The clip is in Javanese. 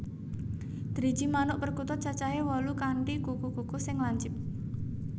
Driji manuk perkutut cacahé wolu kanthi kuku kuku sing lancip